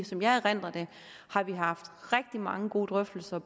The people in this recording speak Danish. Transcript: som jeg erindrer det har vi haft rigtig mange gode drøftelser